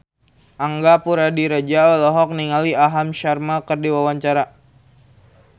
Angga Puradiredja olohok ningali Aham Sharma keur diwawancara